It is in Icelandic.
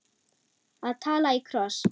Að tala í kross